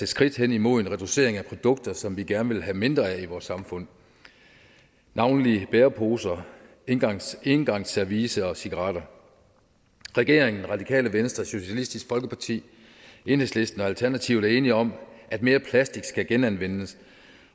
skridt hen imod en reducering af produkter som vi gerne vil have mindre mængder af i vores samfund navnlig bæreposer engangsservice engangsservice og cigaretter regeringen radikale venstre socialistisk folkeparti enhedslisten og alternativet er enige om at mere plastik skal genanvendes